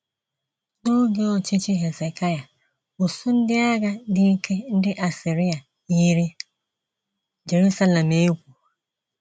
N’oge ọchịchị Hezekaịa, usuu ndị agha dị ike ndị Asiria yiri Jeruselem egwu.